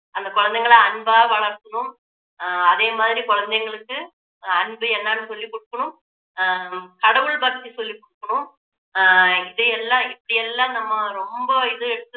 அந்த குழந்தைங்களை அன்பா வளத்தணும் அஹ் அதே மாதிரி குழந்தைங்களுக்கு அன்பு என்னன்னு சொல்லி கொடுக்கணும் ஆஹ் கடவுள் பக்தி சொல்லிக் கொடுக்கணும் ஆஹ் இதையெல்லாம் இப்படி எல்லாம் நம்ம ரொம்ப இதை